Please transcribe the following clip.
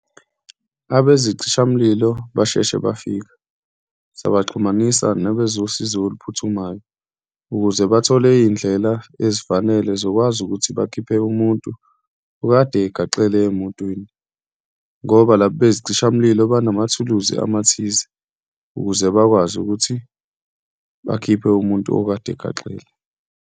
Abezicishamlilo basheshe bafika, sabaxhumanisa nabezosizo oluphuthumayo ukuze bathole iy'ndlela ezifanele zokwazi ukuthi bakhiphe umuntu okade egaxele emotweni ngoba laba bezicishamlilo banamathuluzi amathize ukuze bakwazi ukuthi bakhiphe umuntu okade egaxele.